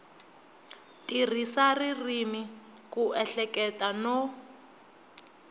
tirhisa ririmi ku ehleketa no